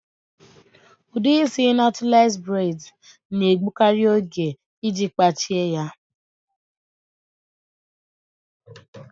Udi isị nọtles bred na-egbukari oge iji kpachie ya